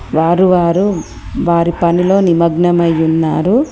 వారు వారు వారి పనిలో నిమగ్నమైయున్నారు.